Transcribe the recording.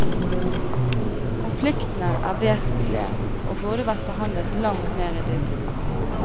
Konfliktene er vesentlige og burde vært behandlet langt mer i dybden.